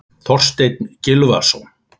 Þorsteinn Gylfason.